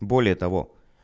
более того